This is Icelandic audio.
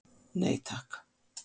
Nei takk.